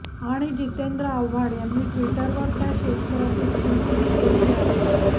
आणि जितेंद्र आव्हाड यांनी ट्विटर वर त्या शेतकऱ्याची स्तुतीही केलेली आहे